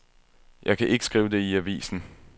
Jeg kan ikke skrive det i avisen.